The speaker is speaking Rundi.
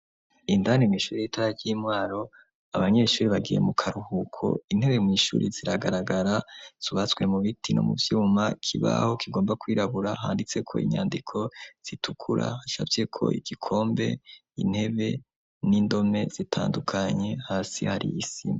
Indani mw'ishure ritoya ry'i Mwaro, abanyeshuri bagiye mu karuhuko, intebe mw' ishuri ziragaragara; zubatswe mu biti no mu vyuma, ikibaho kigomba kwirabura handitseko inyandiko zitukura hashafyeko igikombeintebe, n'indome zitandukanye, hasi hari isi.